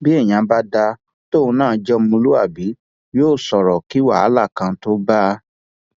bí èèyàn bá dáa tóun náà jẹ ọmọlúàbí yóò sọrọ kí wàhálà kan tóo bá a